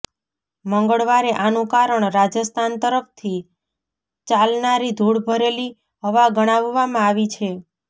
મંગળવારે આનું કારણ રાજસ્થાન તરફથી ચાલનારી ધૂળ ભરેલી હવા ગણાવવામાં આવી છે